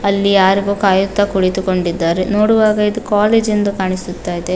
ಅಲ್ಲಿ ಯಾರಿಗೋ ಕಾಯುತ ಕುಳಿತು ಕೊಂಡಿದ್ದಾರೆ. ನೋಡುವಾಗ ಇದು ಕಾಲೇಜ್ ಎಂದು ಕಾಣಿಸುತ್ತ ಇದೆ.